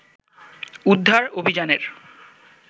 উদ্ধার অভিযানের